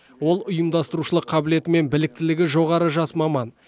ол ұйымдастырушылық қабілеті мен біліктілігі жоғары жас маман